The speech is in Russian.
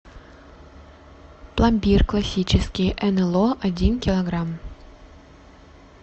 пломбир классический нло один килограмм